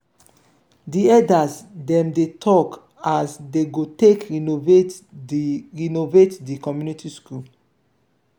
di eldas dem dey talk as dey go take renovate di renovate di community school.